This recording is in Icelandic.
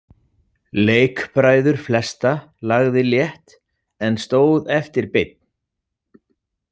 Leikbræður flesta lagði létt, en stóð eftir beinn.